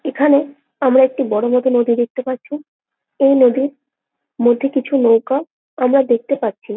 এইখানে আমরা একটি বড়ো মতন নদী দেখতে পারছি এই নদীর মধ্যে কিছু নৌকা আমরা দেখতে পারছি।